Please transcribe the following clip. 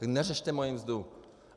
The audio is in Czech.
Tak neřešte moji mzdu!